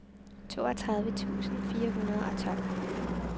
toogtredive tusind fire hundrede og tolv